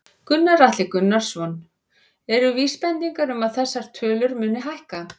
Gunnar Atli Gunnarsson: Eru vísbendingar um að þessar tölur muni hækka?